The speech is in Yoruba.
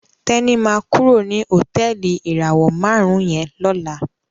Teni ma kúrò ní Hotẹẹli ìràwọ márùn yén ló là.